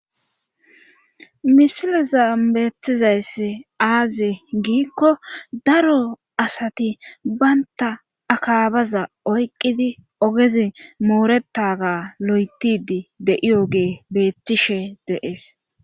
misileza beettizayss aaze giikko daro asati baynta akaabaza oyqqidi ogezi mooretaga lo7etidi de7iyo gee beettishe deees